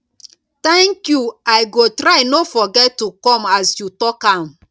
thank you i go try no forget to come as you talk am